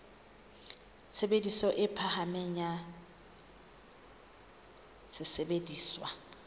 tshebediso e phahameng ya sesebediswa